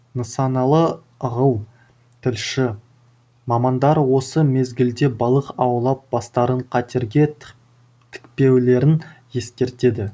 нысаналы ығыл тілші мамандар осы мезгілде балық аулап бастарын қатерге тікпеулерін ескертеді